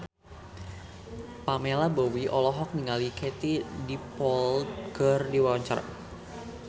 Pamela Bowie olohok ningali Katie Dippold keur diwawancara